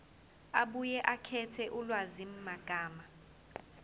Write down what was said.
abuye akhethe ulwazimagama